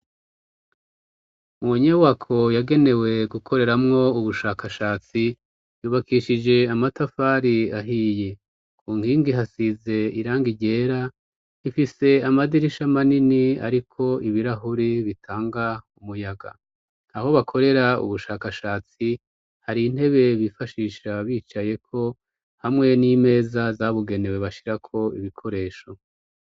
Munyubako yagenewe gukoreramwo ubushakashatsi yubakishije amatafari ahiye; kunkingi hasize irangi ryera; ifise amadirisha manini ariko ibirahuri bitanga umuyaga. Aho bakorera ubushakashatsi hari intebe bifashisha bicayeko hamwe n'imeza zabugenewe bashirako ibikoresho.